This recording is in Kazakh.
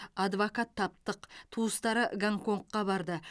адвокат таптық туыстары гонконгқа барды